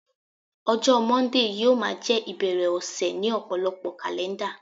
ọjọ Monday yíò ma je ibere ọsẹ ni ọpọlọpọ kalẹnda